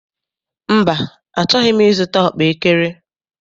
Mba, achọghị m I zụta ọkpaekere.